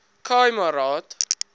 khai ma raad